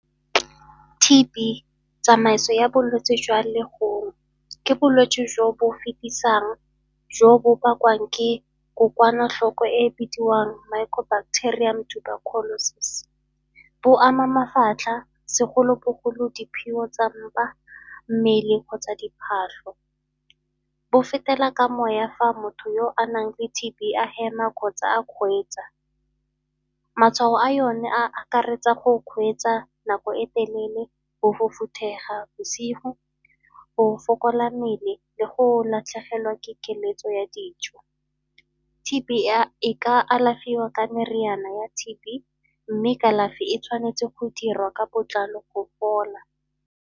T_B, tsamaiso ya bolwetsi jwa legono. Ke bolwetsi jo bo fetisang, jo bo bakwang ke kokwanatlhoko e e bidiwang micro bacterium tuberculosis. Bo ama mafatlha, segolobogolo di tsa mpa, mmele kgotsa . Bo fetela ka moya fa motho yo anang le T_B a hema kgotsa a kgweetsa. Matshwao a yone a akaretsa go kgweetsa nako e telele, go bosigo o fokola mmele le go latlhegelwa ke keletso ya dijo. T_B e ka alafiwa ka meriana ya T_B mme kalafi e tshwanetse go dirwa ka botlalo go fola.